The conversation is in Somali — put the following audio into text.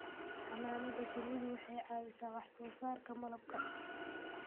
Xannaanada shinnidu waxay ka caawisaa wax soo saarka malabka.